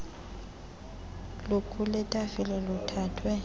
lukule tafile luthathwe